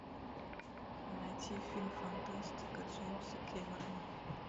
найти фильм фантастика джеймса кэмерона